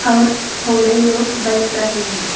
और थोड़े लोग बैठ रहे हैं।